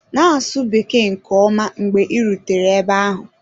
Na-asụ Bekee nke ọma mgbe ị rutere ebe ahụ.